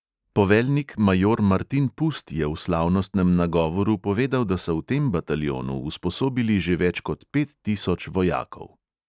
Poveljnik major martin pust je v slavnostnem nagovoru povedal, da so v tem bataljonu usposobili že več kot pet tisoč vojakov.